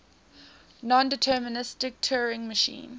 nondeterministic turing machine